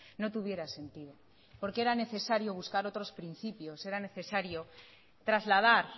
no tuviera sentido porque era necesario buscar otros principios era necesario trasladar